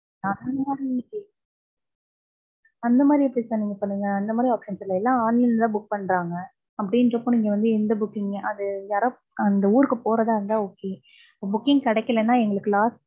அந்த மாரி எப்புடி sir நீங்க சொல்லுவிங்க. அந்தமாதிரி options இல்ல. எல்லா online ல தா book பண்றாங்க. அப்படின்றப்போ நீங்க வந்து எந்த booking, அது யாரா அந்த ஊருக்கு போறதா இருந்தா okay. Booking கிடைக்கலைனா எங்களுக்கு loss